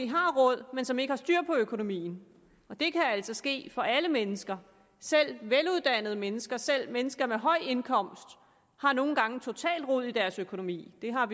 har råd men som ikke har styr på økonomien og det kan altså ske for alle mennesker selv veluddannede mennesker selv mennesker med høj indkomst har nogle gange totalt rod i deres økonomi vi har